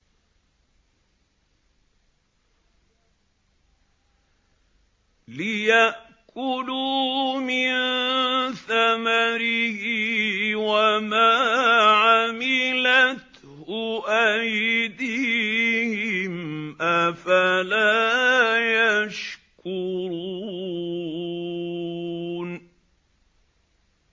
لِيَأْكُلُوا مِن ثَمَرِهِ وَمَا عَمِلَتْهُ أَيْدِيهِمْ ۖ أَفَلَا يَشْكُرُونَ